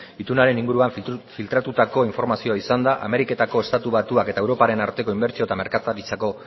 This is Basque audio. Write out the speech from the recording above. itunaren inguruan filtratutako informazioa izan da ameriketako estatu batuak eta europaren arteko inbertsio eta merkataritzako